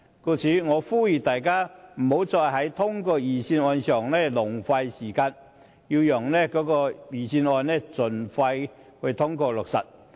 故此，我呼籲大家不要再在審議預算案上浪費時間，讓預算案盡快通過落實。